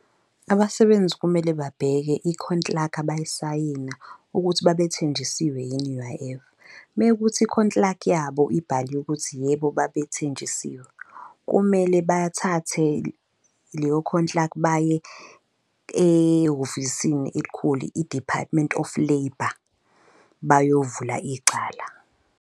Abasebenzi kumele babheke ikhontilaka abayisayina ukuthi babethenjisiwe yini i-U_I_F, mekuthi ikhontilaki yabo ibhaliwe ukuthi yebo, babethenjisiwe kumele bathathe leyo khontilaki baye ehhovisini elikhulu i-Department of Labour bayovula icala.